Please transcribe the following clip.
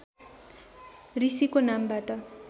ऋषिको नामबाट